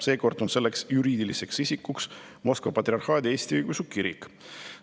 Seekord on tegu juriidilise isikuga, kelleks on Moskva Patriarhaadi Eesti Õigeusu Kirik.